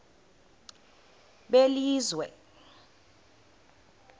belizwe